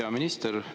Hea minister!